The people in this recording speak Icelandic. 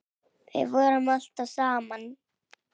Við vorum alltaf saman.